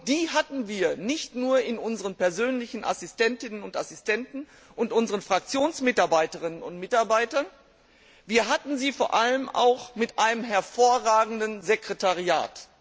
Die hatten wir nicht nur in unseren persönlichen Assistentinnen und Assistenten und unseren Fraktionsmitarbeiterinnen und mitarbeitern, wir hatten sie vor allem auch in einem hervorragenden Sekretariat.